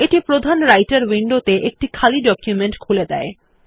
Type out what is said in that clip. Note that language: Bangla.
এটি প্রধান রাইটের উইন্ডোতে একটি খালি ডকুমেন্ট খুলে দেয়